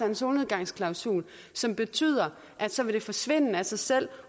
en solnedgangsklausul som betyder at så vil det forsvinde af sig selv